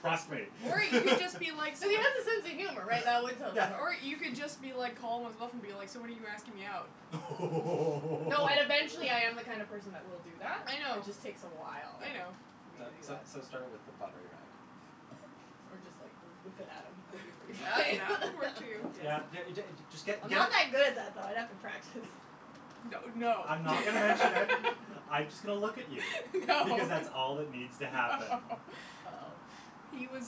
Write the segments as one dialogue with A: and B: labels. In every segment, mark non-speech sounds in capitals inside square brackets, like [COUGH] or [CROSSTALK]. A: Trust me.
B: Or you can
A: [LAUGHS]
B: just be like s-
C: He has a sense of humor, right? That would
A: Yeah.
C: totally work.
B: Or you could just be like calm and stuff and be like, so when are you asking me out?
A: Oh!
C: No, and
A: [LAUGHS]
C: eventually I
D: [LAUGHS]
C: am the kind of person that will do that.
B: I
C: It
B: know.
C: just takes a while
B: I know.
C: for me
A: So
C: to do
A: so
C: that.
A: so start with the pottery rag. [LAUGHS]
C: Or just, like, whip it at him. That would be pretty
B: That
C: funny.
B: that could work, too, yes.
A: Yeah,
C: [LAUGHS]
A: d- d- just get
C: I'm not
A: get
C: that good at that, though. I'd have to practice.
B: That would no.
A: I'm not gonna mention it.
B: [LAUGHS]
A: I'm just going to look at you
D: [LAUGHS]
B: No.
A: because that's all that needs to happen.
B: No.
C: Oh.
B: He was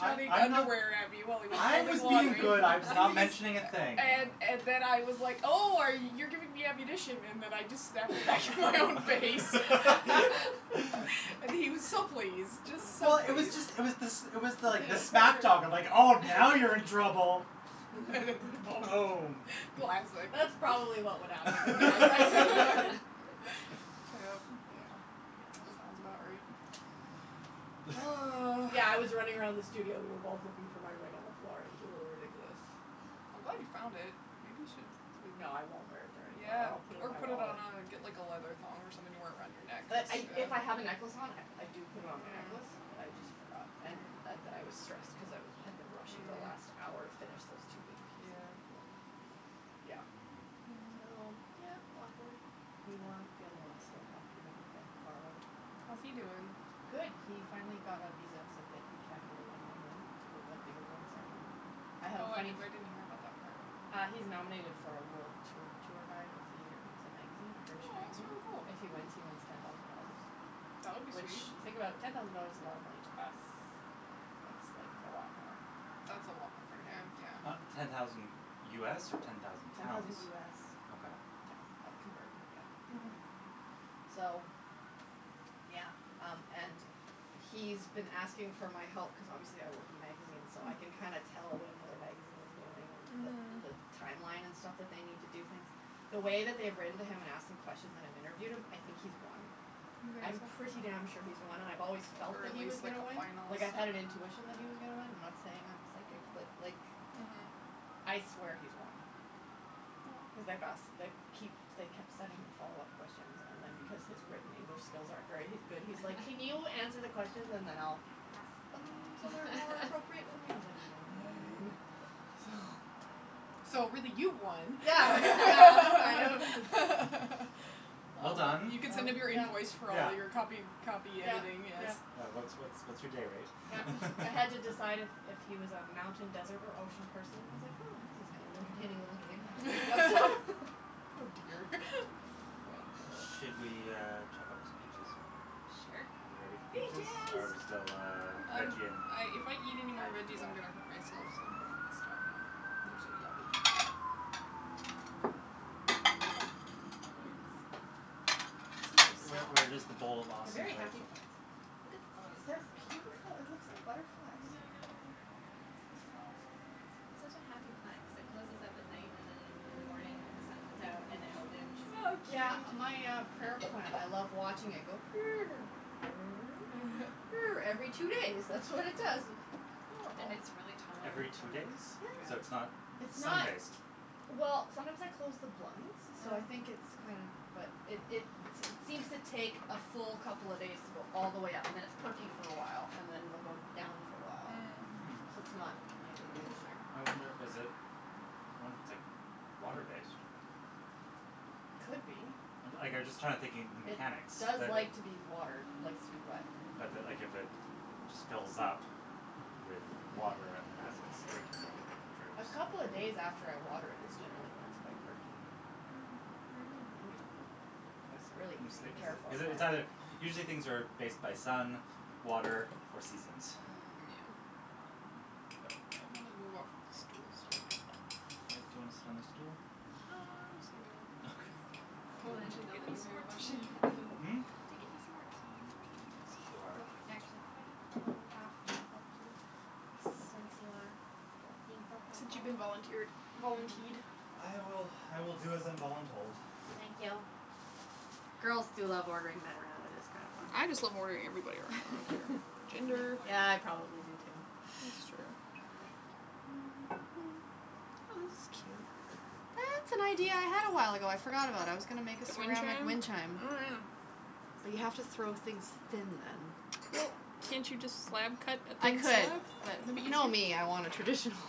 A: I I I'm not
B: underwear at me while he was
A: I
B: throwing
A: was being
B: pottery.
A: good. I was not
B: He
A: mentioning a
D: [LAUGHS]
B: was
C: [LAUGHS]
A: thing.
B: And and then I was like, oh, are y- you're giving me ammunition and then I just snapped it back in my own face.
C: [LAUGHS]
D: [LAUGHS]
B: And
A: [LAUGHS]
B: he was so pleased, just so
A: Well, it was
B: pleased.
A: just it was this it was like the smack talk of, like, oh, now you're in
C: [LAUGHS]
A: trouble.
B: [LAUGHS]
C: [INAUDIBLE]
A: Boom.
B: Classic.
C: That's probably what would happen if I tried to go in.
A: [LAUGHS]
B: [LAUGHS] Yep.
D: [LAUGHS]
C: Yeah.
B: Sounds about right. Oh.
A: [LAUGHS]
C: Yeah, I was running around the studio. We were both looking for my ring on the floor. It was a little ridiculous.
B: I'm glad you
D: [LAUGHS]
B: found it. Maybe you should, like
C: No, I won't wear it there anymore or
B: Yeah,
C: I'll put it in
B: or
C: my
B: put it on
C: wallet.
B: a, get like a leather thong or something to wear it around your neck.
C: But I if I have a necklace on, I do put it on my necklace, but I
B: Yeah.
C: just
A: Mhm.
C: forgot. And and then I was stressed because I had been rushing the last hour to
B: Mm.
C: finish those two big pieces.
B: Yeah.
C: [INAUDIBLE] Yeah.
A: Hmm.
C: So,
B: Mm.
C: yeah, awkward. Meanwhile, the other one's still talking to me from far away.
B: How's he doing?
C: Good. He finally got a visa so that he can go to London, England to go to that big awards ceremony. I have a
B: Oh, I
C: funny f-
B: didn't hear about that part.
C: Uh he's nominated for a world t- tour guide of the year. It's a magazine, a British magazine.
B: Oh,
C: If
B: that's
C: he
B: really
C: wins,
B: cool.
C: he wins ten thousand dollars.
B: That would be
C: Which,
B: sweet.
C: you think about it, ten thousand dollars is a lot of money to us.
D: Yeah.
C: That's like a lot more
B: That's a lot more
C: for
B: for him,
C: him.
A: Uh
B: yeah.
A: ten thousand US or ten thousand
C: Ten thousand
A: pounds?
C: US.
A: Okay.
C: Yeah, I've converted it, yeah.
B: Mhm.
C: So, yeah, um, and he's been asking for my help cuz obviously I work in magazines, so I can kinda
B: Mm.
C: tell what another magazine is doing and the the
B: Mhm.
C: timeline and stuff that they need to do things. The way that they've written to him and asked him questions and I've interviewed him, I think he's won.
B: You
C: I'm pretty
B: think so?
C: damn sure he's won, and I've always
B: Or
C: felt that
B: at
C: he was
B: least like
C: gonna
B: a
C: win. Like, I had an
B: finalist.
C: intuition that he was gonna win. I'm not saying I'm psychic, but like
B: Mhm.
C: I swear he's won cuz they've asked
B: Well
C: they keep they kept sending him follow up questions and then because his
A: Mm.
C: written English skills aren't very good, he's like, can you answer the questions
D: [LAUGHS]
C: and then I'll fix them so they're more appropriate for me? I was like,
D: [LAUGHS]
C: fine. So
B: So, really, you won.
C: Yeah, yeah, I know.
B: [LAUGHS]
A: [LAUGHS]
D: [LAUGHS]
A: Well done.
B: You could send him your invoice for all your copy
A: Yeah.
B: copy
C: Yeah,
B: editing, yes.
C: yeah.
A: Yeah, what's what's what's your day rate
C: Yeah. I had to
A: [LAUGHS]
C: decide if if he was a mountain, desert or ocean person. I was like, oh, this is kind of an entertaining little game. [LAUGHS]
B: [LAUGHS] Oh, dear. [LAUGHS]
A: Should we, uh, chop up some peaches?
D: Sure.
A: Are we ready for peaches? Or are we still,
B: Peaches.
A: uh,
B: I'm I'm
A: veggie ing?
B: if I eat anymore
C: I,
B: veggies, I'm going to hurt
C: yeah.
B: myself, so I'm going to stop now. They're so yummy.
A: Where where does the bowl of
C: They're
A: awesome
C: very
A: live?
C: happy plants in here.
D: Oh, it
C: They're
D: lives in the cupboard.
C: beautiful. It looks
A: Okay.
C: like butterflies.
B: I know. So soft.
D: It's such a happy plant cuz it closes up at night and then in the morning, like, the sun comes out and then it opens
B: Oh,
D: and
B: cute.
C: Yeah. My, uh, prayer plant, I love watching it go [NOISE] Every two
B: [LAUGHS]
C: days, that's what it does. It's
D: And
C: adorable.
D: it's really
A: Every
D: tolerant to,
A: two
D: like,
A: days? So
D: drought,
A: it's
C: Yeah.
A: not
C: It's
A: sun
C: not
D: like
A: based?
C: Well, sometimes I close the blinds, so I think it's
B: Mm.
C: kinda, but it it seems to take a full couple of days to go all the way up and then it's perky for a while and then it'll go down for a while,
A: Hmm.
C: so
B: Mm.
C: it's not nightly, daily.
B: Interesting.
A: I wonder, is it I wonder if it's, like, water based.
C: Could be.
A: Like I'm just trying to think the
C: It
A: mechanics
C: does
A: that it
C: like to be watered, likes to be wet.
A: But that, like, if it just fills up with water and then as its drinking it, it droops.
C: A couple of days after I water it is generally when it's quite perky.
B: Mm, maybe.
C: Maybe,
B: Yeah.
C: but it's a really easy to care for
A: Is it it's either
C: plant.
A: usually things are based by sun, water or seasons.
B: Yeah.
C: Mm.
A: Um, but
B: I'm
A: I'm
B: gonna move off of this stool's hurting my butt.
A: Okay, do you wanna sit on the stool?
B: No, I'll go sit over there.
A: Okay.
B: Would
D: We'll
B: you mind
D: enter the
B: getting me
D: living
B: some
D: room
B: more tea?
D: portion of
A: Mm?
B: Can you get me some more tea, please?
A: Sure.
C: Actually, could I have a little half top up, too? Since you are being so
B: Since you've
C: helpful.
B: been volunteered, volunteed.
C: Yeah.
A: I will, I will do as I'm voluntold.
C: Thank you. Girls do love ordering men around, it is kind of fun.
B: I just love ordering everybody around, I don't care.
C: [LAUGHS]
D: I can make
B: Gender.
D: more,
C: Yeah,
D: too.
C: I probably do, too.
B: That's true.
C: [NOISE] Oh, this is cute. That's an idea I had a while ago. I forgot about. I was gonna make a
B: The wind
C: ceramic
B: chime?
C: wind chime.
B: Oh, yeah.
C: But you have to throw things thin then.
B: Well, can't you just slab cut a
C: I
B: thin
C: could,
B: slab?
C: but
B: Wouldn't
C: you know
B: that be
C: me, I want a
B: easier?
C: traditional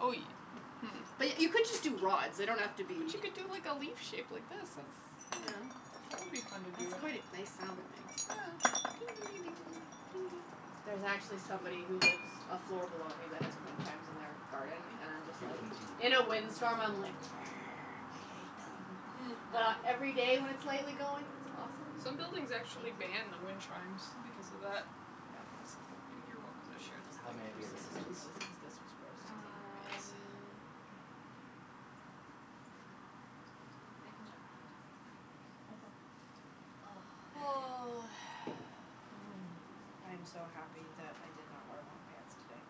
B: Oh, you
C: But
B: Hmm.
C: y- you could just do rods. They don't have to
B: But
C: be
B: you could do like a leaf shape like this. That's, I don't
C: Yeah.
B: know, that would be fun to do.
C: That's quite a nice sound it makes.
B: Yeah. [NOISE]
C: There's actually somebody who lives a floor below me that has wind chimes in their garden
B: Thank
C: and I'm just
A: You've
C: like
A: been teed.
C: In
B: you.
C: a wind storm, I'm like [NOISE] I hate them.
B: Mm.
C: But every day when it's lightly going, it's
D: [LAUGHS]
C: awesome.
B: Some buildings
C: Thank
B: actually
C: you.
B: ban the wind chimes because of that.
C: Yeah.
B: So, you you're welcome to share this
A: How
B: thing.
A: may I be of
C: Just gonna move
A: assistance?
C: this cuz this was roasting me.
B: Yes.
D: Um, I I can chop the peaches. It's pretty quick, so
A: Okay.
C: Oh,
B: Oh.
C: thanks. Mm. I am so happy that I did not wear long pants
D: [INAUDIBLE]
C: today.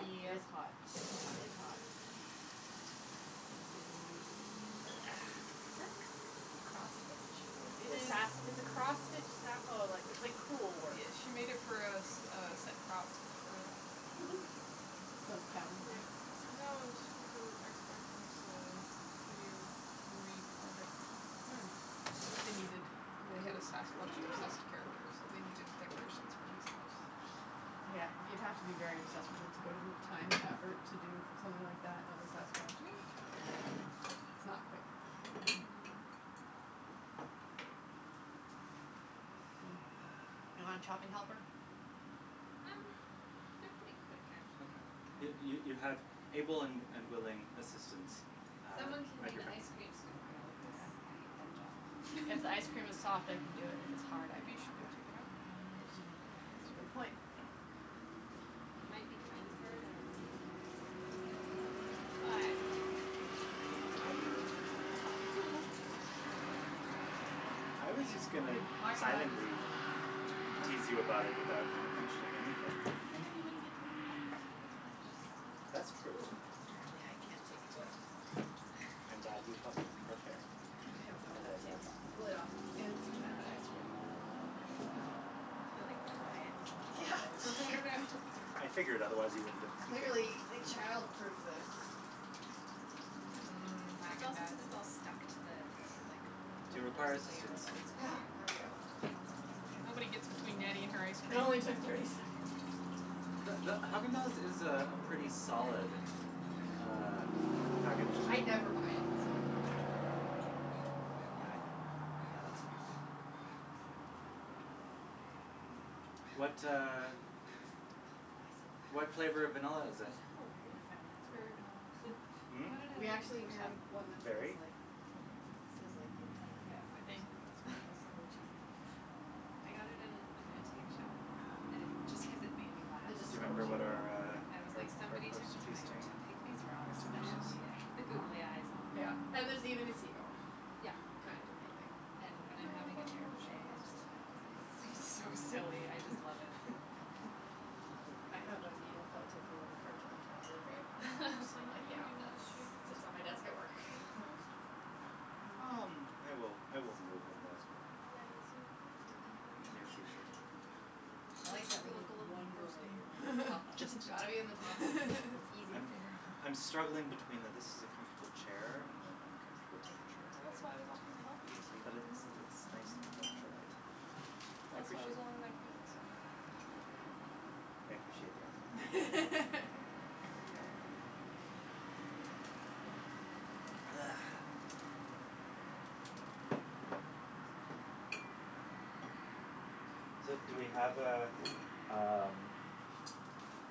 B: Yeah,
C: It's hot.
B: it's hot.
C: It's hot. Is
A: [NOISE]
C: that cross stitch?
B: It
C: It's a
A: This
B: is.
C: sas- it's a cross stitch sa- oh, like it's like cruel work.
B: Yeah, she made it for a s- a set prop for
C: [LAUGHS] Some cabin thing?
B: Yeah. No, it was for her ex boyfriends, uh, video movie project or
C: Mm.
B: something. They needed the head of sasquatch obsessed character, so they needed decorations for his house.
C: Yeah, you'd have to be very obsessed with it to go to the time and effort to do something like that of a sasquatch.
B: Yeah.
C: [LAUGHS] It's not quick.
B: No.
C: Hmm. You want a chopping helper?
D: Um, they're pretty quick, actually.
A: Okay. You you you
C: Okay.
A: have able and and willing assistants,
D: [LAUGHS]
A: uh,
D: Someone can
A: at
D: be
A: your
D: the ice
A: beckon.
D: cream scooper, though, cuz
C: Okay.
D: I hate that job.
C: If
D: [LAUGHS]
C: ice cream is soft, I can do it. If it's hard, I
B: Maybe you should
C: cannot do
B: go
C: it.
B: take it out. And they'll
D: It
B: be soft by the
C: Yeah,
B: time
C: it's a good point.
B: [INAUDIBLE]
D: it might be kind of hard, I don't know. [INAUDIBLE]
B: Hot.
A: [INAUDIBLE]
B: I do.
A: I
C: I
A: was
C: think it's
A: just going to
C: fine. Haagen Dazs is
A: silently
C: usually okay. It
A: tease
C: doesn't
A: you
C: kinda
A: about it
C: go
D: Yeah.
A: without
C: hard hard.
A: mentioning anything.
B: But the you wouldn't get to [INAUDIBLE] laugh as much,
A: That's
B: so.
C: Ooh,
A: true.
C: apparently I can't take the lid off, though.
A: I'm
D: [NOISE]
A: glad you felt comfortable sharing it.
C: I don't know
A: It
C: how to
A: was
C: take
A: more fun.
C: the lid off of fancy
B: I'm not
C: pants ice
B: actually
C: cream.
B: done. I was playing.
D: You kinda like
C: [LAUGHS]
D: pry it from
C: Yeah. [NOISE]
D: the bottom. [LAUGHS]
A: I figured, otherwise you wouldn't have continued.
C: Clearly they
A: [LAUGHS]
C: childproofed this.
B: Mm,
D: It's
B: Haagen
D: also cuz
B: Dazs.
D: it's all stuck to the, like, the
A: Do you require
D: first
C: [NOISE]
D: layer
A: assistance?
D: of ice
C: Ah,
D: cream.
C: there we go.
B: Nobody gets between Nattie and her ice
C: It
B: cream.
C: only took thirty seconds.
A: The the Haagen Dazs is a pretty solid, uh packaged
C: I never buy it, so
A: Yeah.
C: Yeah, I think Yeah, that's fine. That's totally fine.
A: Mm. What, uh,
C: Oh, I so have one
A: what flavor of vanilla
C: of
A: is it?
D: Isn't that
C: these. My
D: hilarious?
C: family
B: It's
C: has one,
B: berry vanilla.
C: yeah.
D: They
A: Hmm?
D: had it at
C: We
D: an
C: actually
D: antique
C: have
D: shop.
C: one that
B: Berry.
C: says,
A: Berry?
C: like,
A: Okay.
C: it says, like, the entire
B: I
C: family or
B: think,
C: something
B: that's
C: on
B: what I
C: it,
B: can
C: like
B: see
C: something
B: from here.
C: cheesy.
D: [LAUGHS] I got it in an antique shop and it just cuz it made me laugh.
C: It
A: Do
C: just
A: you
C: spoke
A: remember
C: to you,
A: what
C: yeah,
A: our,
C: yeah.
D: And it was
A: uh, our
D: like
A: our
D: somebody
A: post
D: took the time
A: feasting
D: to pick these rocks
A: activity is?
D: specially and put the googly eyes on
C: Yeah,
D: them
C: and
D: and
C: there's even a seagull.
D: Yeah.
C: Kind of amazing.
D: And when I'm
B: No, I
D: having a
B: don't know
D: terrible
B: if she
D: day,
B: has
D: I
B: a
D: just look
B: specific
D: at it
B: plan.
D: and it's so
A: Okay.
D: silly, I just love it.
A: We'll
C: [LAUGHS] I
A: figure it out.
C: have a needle felted little cartoon tiger
B: Are
C: thing.
B: you hot from the sun
C: I'm
B: on
C: like,
B: you? Do
C: yeah,
B: you want
C: that's
D: [LAUGHS]
B: the shade this,
C: sits on my desk at
B: uh,
C: work.
B: curtain closed?
A: Um, I will, I will move in the
C: Spoons would be, I assume, here?
D: In the
A: near
D: drawer.
A: future.
B: Okay.
C: I
B: You look
C: like that,
B: you
C: when there's
B: look a little
C: one drawer that
B: roasting.
C: you're, like, the top one.
A: Just
C: It's
A: a
C: got to be in the top one.
D: [LAUGHS]
A: tad.
C: It's easy to
A: I'm
C: figure out.
B: [LAUGHS]
A: I'm struggling between the this is a comfortable chair and an uncomfortable
D: I like the
A: temperature.
B: Well,
D: interior of
B: that's
D: the
B: why I was
D: kitchen
B: offering to help
D: layout.
B: you, so you
A: But
B: wouldn't have to
A: it's
B: move.
A: it's nice to have natural light.
C: [NOISE]
A: I
B: Well, that's why I was
A: appreciate
B: only gonna close this one.
C: Mkay.
A: I appreciate the offer. Thank you.
B: [LAUGHS] You're welcome.
A: Ah. So, do we have a, um,
C: [NOISE]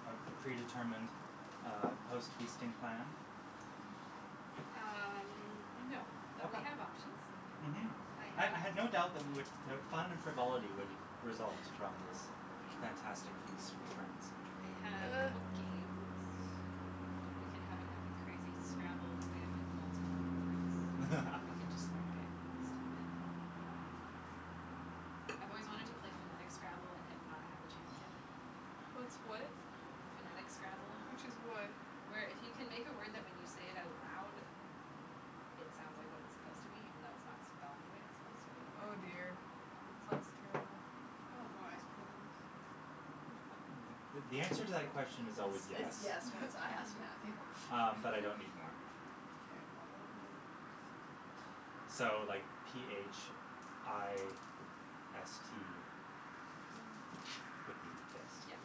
A: a a predetermined uh post feasting plan?
D: Um, no, but we
A: Okay.
D: have options.
A: Mhm.
D: I
A: I
D: have
A: I had no doubt that we would that fun and frivolity would result
D: [LAUGHS]
A: from this fantastic feast with friends.
D: I have a
B: Uh.
D: couple games. We can have an epic, crazy Scrabble. Cuz I have, like, multiple boards and we can just, like,
A: [LAUGHS]
D: get stupid. Um, I've always wanted to play phonetic Scrabble and have not had the chance yet.
B: What's what?
D: Phonetic Scrabble.
B: Which is what?
D: Where if you can make a word that when you say it out loud it sounds like what it's supposed to be even though it's not spelled the way it's supposed to be.
B: Oh, dear, that sounds terrible.
C: You want more ice cream than this?
A: Th- th- the answer to that question is always
C: Is is
A: yes.
C: yes when it's I ask Matthew.
B: [LAUGHS]
D: [LAUGHS]
A: Um, but I don't need more.
C: K, well, what we'll
A: Um, so, like, p h i s t could
C: [NOISE]
A: be fist?
D: Yeah.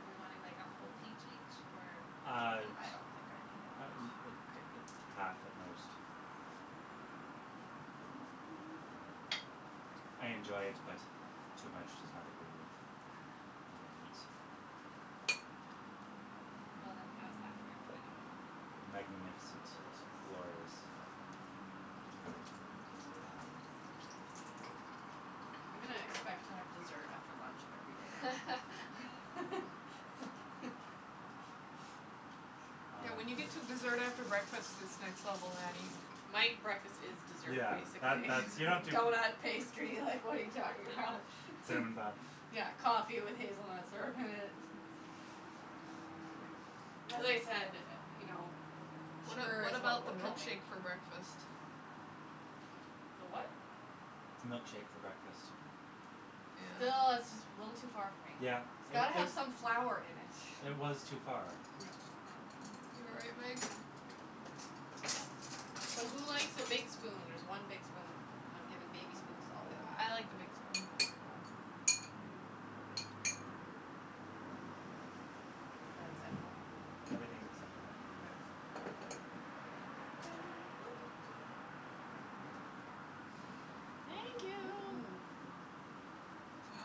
D: Are we wanting, like, a whole peach each or half a
A: Uh
D: peach?
C: I don't think I need that
A: uh
C: much.
A: uh a
D: Okay.
A: half at most.
D: [NOISE]
C: [NOISE]
A: I I
C: Mkay.
A: enjoy it, but too much does not agree with
D: Ah.
A: my innards.
D: Well then, how's that for everybody?
A: Magnificent.
C: Delicious.
A: Glorious. Ah.
C: [NOISE]
D: [NOISE]
C: I'm gonna expect to have dessert after lunch every day now.
A: Yes.
D: [LAUGHS]
C: [LAUGHS]
B: Yeah,
A: Um
B: when you get to dessert after breakfast, it's next level, Nattie.
C: My breakfast is dessert,
A: Yeah, that
C: basically.
A: that's You don't do
C: Donut,
B: [LAUGHS]
C: pastry, like, what are you talking about?
A: Cinnamon bun.
C: Yeah, coffee with hazelnut syrup in it.
A: Mhm.
C: As I said, you know,
B: What
C: sugar
B: what
C: is what
B: about the
C: will kill me.
B: milkshake for breakfast?
C: The what?
A: Milkshake for breakfast.
B: Yeah.
C: Still, that's just a little too far for me.
A: Yeah,
C: It's
A: it
C: got to
A: it
C: have some flour in it.
A: It was too far.
C: Yeah.
B: You all right, Meg?
D: [INAUDIBLE]
C: So, who likes a big spoon? There's one big spoon and I'm giving baby spoons to all the other ones.
B: I like the big spoon.
C: Okay. Is that acceptable?
A: Everything's acceptable.
C: K.
D: Oop. Sorry.
C: [NOISE]
B: Thank you.
C: Mm mm.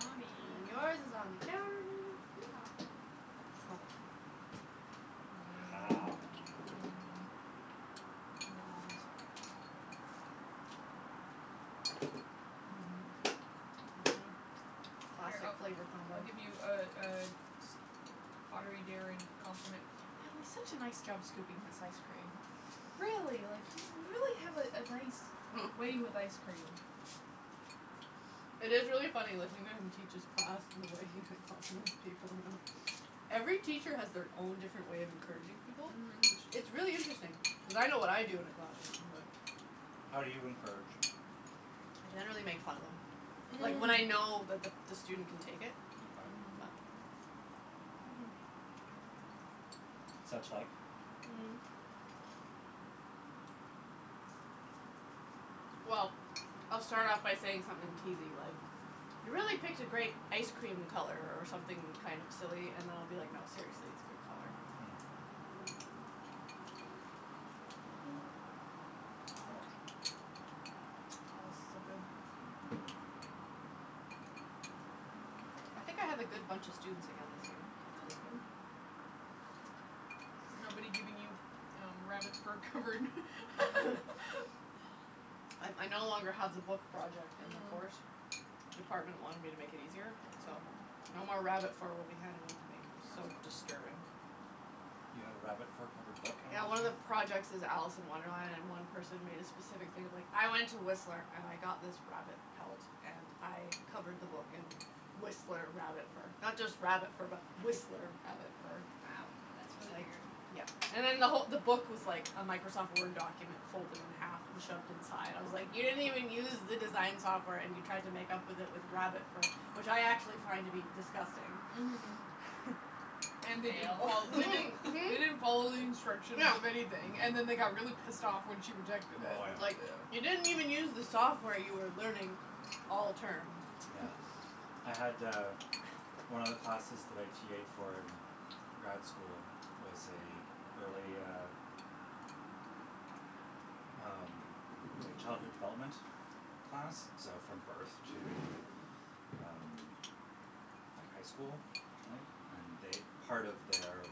B: On me.
C: And yours is on the counter, Meagan.
D: Yeehaw.
B: Mmm.
A: [NOISE]
B: Mmm.
C: Mmm.
B: Noms.
C: Noms. Mhm. Mhm.
B: [NOISE] Here, I
C: Classic flavor
B: I'll
C: combo.
B: give you a a pottery daring compliment. Natalie, such a nice job scooping this ice cream. Really, like, you really have a a nice way with ice cream.
C: [LAUGHS] It is really funny listening to him teach his class and the way he like compliments people, you know. Every teacher has their own different way of encouraging people. It's
B: Mhm.
C: it's really interesting. Cuz I know what I do in a classroom, but
A: [NOISE] [NOISE] How do you encourage?
C: I generally make fun of them. Like when I know that the the
B: [LAUGHS]
C: student can take it.
A: Okay.
B: Mhm.
C: But
A: Such like?
C: Mm. Well, I'll start off by saying something teasey, like, you really picked a great ice cream color, or something kind of silly. And I'll be like, no, seriously, it's a good color.
A: Mhm.
C: [NOISE]
A: Too much.
B: Oh [NOISE] this is so good.
C: I think I have a good bunch of students again this year, so it's
B: That's
C: good.
B: good. Nobody giving you
A: [NOISE]
B: rabbit fur covered [LAUGHS]
C: [LAUGHS] I I no longer have the book project [NOISE] in the
B: Mm.
C: course. Department wanted me to make it easier,
B: You're
C: so
B: welcome.
C: no more rabbit fur will be handed in to me. That was
B: That's
C: so
B: cool.
C: disturbing.
A: You had a rabbit fur covered book
C: Yeah, one of the
A: [INAUDIBLE]
C: projects is Alice in Wonderland, and one person made
B: [NOISE]
C: a specific thing of like, I went to Whistler and I got this rabbit pelt and I covered the book in Whistler rabbit fur. Not just rabbit fur but Whistler rabbit fur.
D: Wow, that's
C: It's
D: really
C: like,
D: weird.
C: yeah And then the who- the book was like a Microsoft Word document folded in half and shoved inside. I was like, you didn't even use the design software and you tried to make up with it with rabbit fur, which I actually find to be disgusting.
B: Mhm.
C: [LAUGHS]
B: And they didn't
D: Fail.
B: fol- they didn't
C: Mhm,
D: [LAUGHS]
B: they didn't follow
C: mhm.
B: the instructions
C: Yeah.
B: of anything and then they got really pissed off when she rejected it,
A: Oh,
C: I was
A: yeah.
C: like, you
B: yeah.
C: didn't even use the software you were learning all term.
A: [NOISE] Yeah.
C: [NOISE]
A: I had, uh, one of the classes that I TA'ed for in grad school was a early, uh, um, like, childhood development class, so from birth to, um, like, high school, I think. And they part of their,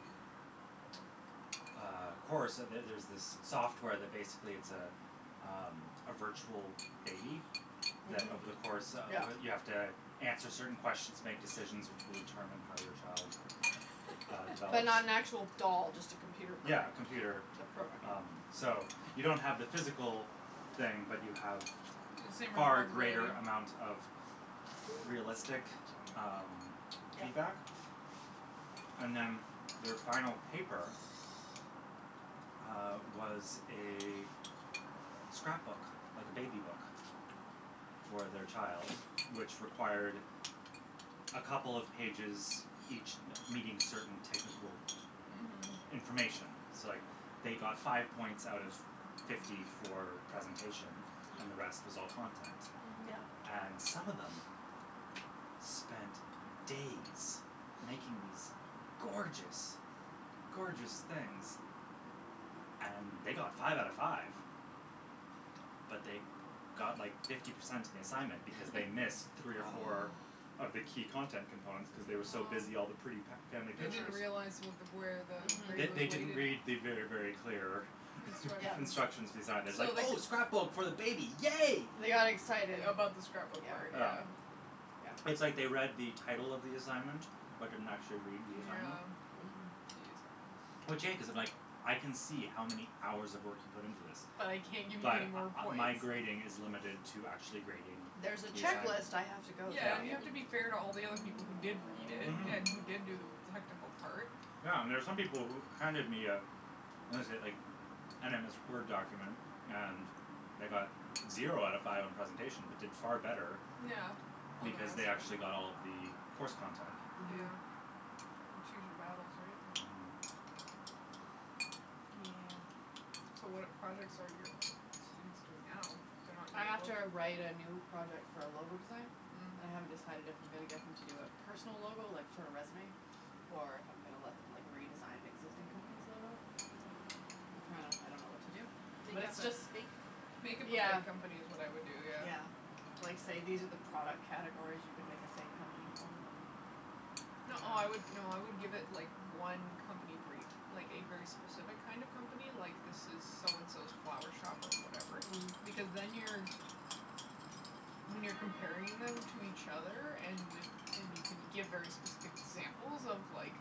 A: uh, course So there's this software that basically it's a, um, a virtual baby that
C: Mhm.
A: over the course of
C: Yeah.
A: You have to answer certain questions, make decisions which will determine how your child, uh,
C: But
A: develops.
C: not an actual
B: [LAUGHS]
C: doll, just a computer
A: Yeah,
C: program.
A: computer,
C: The program,
A: um,
C: yeah.
A: so you don't have the physical thing, but you have
B: The same
A: far greater
B: responsibility.
A: amount of
D: This is the
A: realistic,
D: half chair.
A: um, [NOISE]
C: Yeah.
A: feedback. And then their final paper [NOISE] uh, was a scrapbook, like a baby book for their child, which required
C: [NOISE]
A: a couple of pages, each me- meeting certain technical
B: Mhm.
C: Mhm.
A: information. So, like, they got five points out of fifty for presentation and the rest
D: Mm.
A: was all content.
B: Mhm.
C: Yeah.
A: And some of them
B: [NOISE]
A: [NOISE] spent days making these gorgeous, gorgeous things and they got five out of five But they got like fifty percent on the assignment because they missed three or
D: [LAUGHS]
A: four
C: Oh.
A: of the key content components cuz they were so busy all the pretty
B: Oh.
A: fa- family
B: They didn't
A: pictures.
B: realize
D: Hmm.
B: what the where the
A: They
B: grade was
A: they
C: Mhm.
A: didn't
B: weighted.
A: read the very, very clear
C: Yeah.
B: Instructions.
A: instructions design. It was like,
B: So they c-
A: "Oh, scrapbook for the baby, yay!"
C: They got excited.
B: About the
D: [LAUGHS]
B: scrapbook part,
A: Yeah.
C: Yeah.
B: yeah.
A: It's like they read the
C: Yeah.
A: title of the assignment, but didn't actually read the assignment.
B: Yeah.
D: Hmm.
B: Geez.
A: Which, yeah, cuz if, like, I can see how many hours of work you put into this,
B: But I can't give you any
A: but
B: more
A: uh
B: points.
A: my grading is limited to actually grading
C: There's a
A: the assignment.
C: checklist I have
B: Yeah.
C: to go
B: Yeah,
A: Yeah.
C: through
B: and you
C: here.
B: have to be fair
D: [LAUGHS]
B: to all the other people who did read it
A: Mhm.
B: and who did do the technical part.
A: Yeah, and there's some people who handed me a what is it, like, an MS Word document and they got zero out of five on presentation but did far better
B: Yeah, on the
A: because
B: rest
A: they
B: of
A: actually
B: it.
A: got all of the course content.
C: Mhm.
B: Yeah. Kind of choose your battles, right?
A: Mhm.
C: Yeah.
B: Yeah. So, what projects are your students doing now? They're not
C: I
B: doing a
C: have
B: book?
C: to write a new project for a logo design, and I haven't
B: Mm.
C: decided if I'm gonna get them to do a personal logo, like, for a resume, or if I'm gonna let them, like, redesign an existing company's logo. I'm trying to I don't know what to do. But
D: Make
C: it's
D: up a
C: just
D: fake
B: Make
D: company.
B: up a
C: Yeah.
B: fake company is what I'd do, yeah.
C: Yeah. Like, say these are the product categories you can make a fake company for
A: [NOISE]
C: and
B: No, I would, no, I would give it, like, one company brief, like a very specific kind of company, like, this is so and so's flower shop or whatever because
C: Mm.
B: then you're When you're comparing them to each other and with and you can give very specific examples
A: [NOISE]
B: of, like,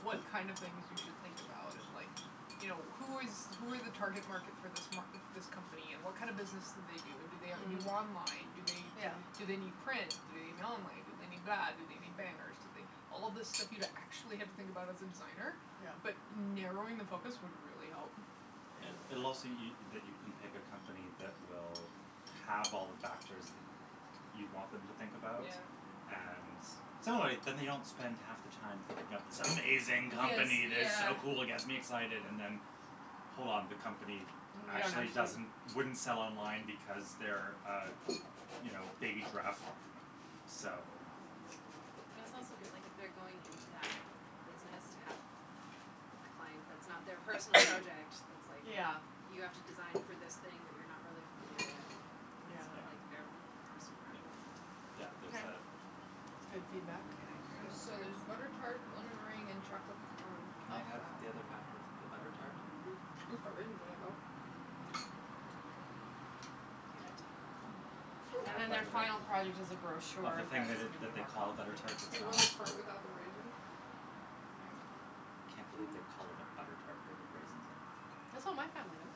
B: what kind of things you should think about and, like, you know, who is who are the target market for this m- this company and what kind of business do they do and do they do
C: Mm.
B: online, do they
C: Yeah.
B: do they need print, do they need online, do they need that, do they need banners, do they All this stuff you'd actually have to think about as a designer,
C: Yeah.
B: but narrowing the focus would really help.
C: Yeah.
A: It it'll also y- that you can pick a company that will have all the factors that you'd want them to think about.
B: Yeah.
A: And so, anyway, then they don't spend half the time thinking up this amazing
B: Yes,
A: company that's
B: yeah.
A: so cool, gets me excited and then hold on, the company
C: Yeah, and
A: actually
C: actually
A: doesn't wouldn't sell online because they're a, you know, a baby giraffe farm, so
D: Hmm. And
A: I
D: it's
A: think
D: also
A: that
D: good,
A: that
D: like, if they're going into that business to have a client that's not their personal project
C: [NOISE]
D: that's,
B: [NOISE]
D: like,
C: Yeah.
D: you have to design for this thing that you're not really familiar with,
C: Yeah.
D: it's not
A: Yeah.
D: like their own personal
A: Y-
D: preference into it.
A: yeah, there's
C: Okay.
A: that.
C: That's good
D: Oh,
C: feedback.
D: yeah, I forgot
B: There's
D: about the
B: so there's butter
D: tarts.
B: tart, lemon meringue and chocolate pecan.
A: Can
C: Oh,
A: I have
C: wow.
D: Oh,
A: the other half of the
D: yeah.
A: butter tart?
B: Mm mhm. It's got raisins in it, though.
C: Hmm.
B: [NOISE]
D: [INAUDIBLE]
A: Can I
C: And
A: have a
C: then their
A: bite of it,
C: final product is a
A: of the
C: brochure
A: thing that
C: that's gonna be
A: that they
C: more
A: call a butter
C: complicated,
A: tart that's
C: but
B: You want
A: not?
B: the part without the raisin? There you
A: I
B: go.
A: can't believe they call it
C: [LAUGHS]
A: a butter tart but they put raisins in it.
C: That's what my family does.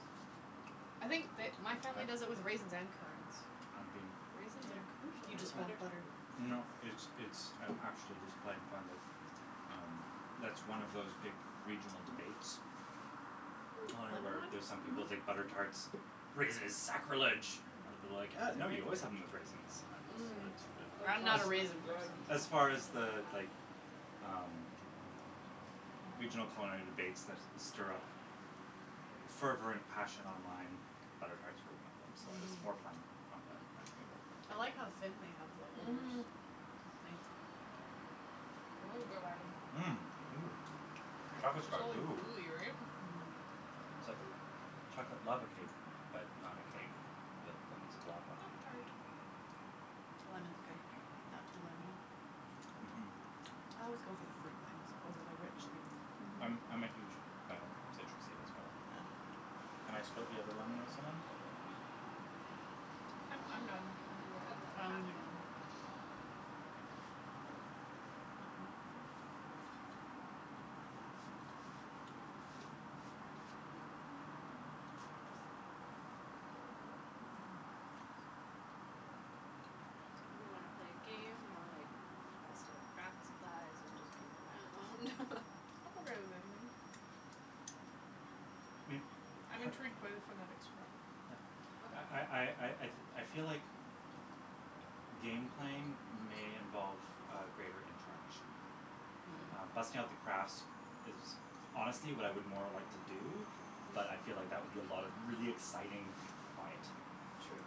C: I think the my family does it
A: I
C: with raisins and currants.
A: I'm being
D: Raisins are
C: Yeah.
D: crucial
C: Do you
A: Or-
D: to
C: just
A: n-
C: want
D: butter
C: butter.
D: tarts.
A: No, it's it's, I'm actually just playing fun that, um that's one of those big regional
B: Mhm.
A: debates,
C: Mm, lemon
A: where
C: one?
A: there's some people think
B: Mhm.
A: butter tarts, raisins is
C: Oh,
A: sacrilege. I would be like, uh
C: these
A: no,
C: are very
A: you
C: good.
A: always have them with raisins.
B: Mm.
A: And
B: That
C: I'm
A: as
C: not a
B: chocolate one is
C: raisin
B: good.
C: person, so
A: as
D: Oh,
A: far as
D: my
A: the,
D: god.
A: like, um, regional
C: Mm.
A: culinary debates that stir up fervent passion online, butter tarts were one of them, so I was
C: Mhm.
A: more playing on the memory of the
D: [LAUGHS]
A: thing.
C: I like how thin they have the holders.
B: Mhm.
C: [INAUDIBLE]
B: That is good item.
A: Mmm. Ooh,
B: Right.
A: chocolate's
B: It's
C: Right?
A: got
B: all
A: goo.
B: gooey, right?
C: Mmm.
A: It's like a chocolate lava cake but not a cake but lots of lava.
B: Lava tart.
C: Lemon's good. Not too lemony.
A: Mhm.
C: I always go for the fruit things over the rich things.
B: Mhm.
A: I'm I'm a huge
D: Mm.
A: fan of citrusy as well.
C: Yeah.
A: Can I split the other lemon with someone?
B: I'm
D: I'll
B: I'm
D: have
B: done. Do
D: I'll
B: whatever.
D: have the
C: I
D: other
C: only
D: half of
C: need
D: it.
C: one.
D: Oh, my god.
C: [NOISE]
D: So, do we wanna play a game or, like, bust out craft supplies and just goof around? [LAUGHS]
B: I'm okay with anything.
A: May-
B: I'm
A: par-
B: intrigued by the phonetic Scrabble.
A: yeah I I
D: Okay.
A: I I I feel like game playing may involve a greater interaction. Um,
C: Mm.
A: busting out the crafts is honestly what I would more like to do, but I feel like that would be a lot of really
D: [LAUGHS]
A: exciting quiet.
D: True.